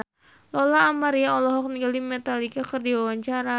Lola Amaria olohok ningali Metallica keur diwawancara